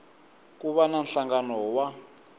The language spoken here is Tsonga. ku va na nhlangano wa